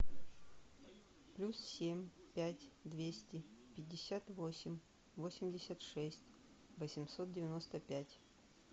плюс семь пять двести пятьдесят восемь восемьдесят шесть восемьсот девяносто пять